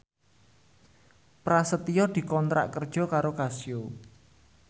Prasetyo dikontrak kerja karo Casio